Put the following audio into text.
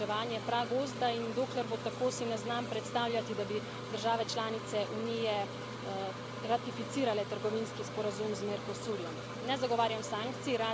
Brazilija dopušča uničevanje pragozda in dokler bo tako, si ne znam predstavljati, da bi države članice Unije ratificirale trgovinski sporazum z Mercosurjem.